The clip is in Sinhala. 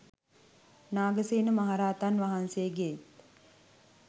නාගසේන මහරහතන් වහන්සේගේත්